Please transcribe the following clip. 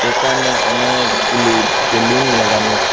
এখানে অনেকগুলি বেলুন লাগানো আছে।